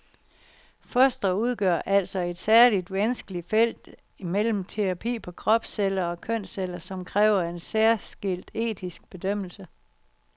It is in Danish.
Fostre udgør altså et særligt vanskeligt felt imellem terapi på kropsceller og kønsceller, som kræver en særskilt etisk bedømmelse.